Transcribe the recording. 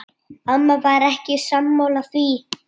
Amma var ekki sammála því.